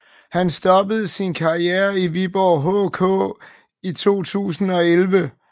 Han stoppede sin karriere i Viborg HK i 2011